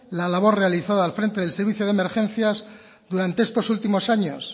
la labor realizada al frente del servicio de emergencias durante estos últimos años